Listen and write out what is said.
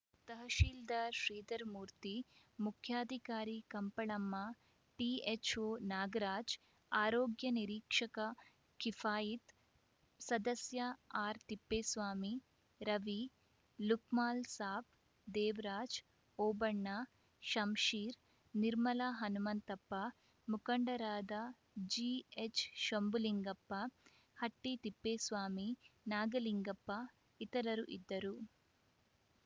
ತಹಸೀಲ್ದಾರ್‌ ಶ್ರೀಧರಮೂರ್ತಿ ಮುಖ್ಯಾಧಿಕಾರಿ ಕಂಪಳಮ್ಮ ಟಿಎಚ್‌ಒ ನಾಗರಾಜ್‌ ಆರೋಗ್ಯ ನಿರೀಕ್ಷಕ ಕಿಫಾಯಿತ್‌ ಸದಸ್ಯ ಆರ್‌ತಿಪ್ಪೇಸ್ವಾಮಿ ರವಿ ಲುಕ್ಮಾನ್‌ ಸಾಬ್‌ ದೇವರಾಜ್‌ ಓಬಣ್ಣ ಶಂಷೀರ್‌ ನಿರ್ಮಲ ಹನುಮಂತಪ್ಪ ಮುಖಂಡರಾದ ಜಿಎಚ್‌ ಶಂಭುಲಿಂಗಪ್ಪ ಹಟ್ಟಿತಿಪ್ಪೇಸ್ವಾಮಿ ನಾಗಲಿಂಗಪ್ಪ ಇತರರು ಇದ್ದರು